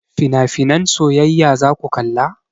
Finafinan soyayya zaku kalla?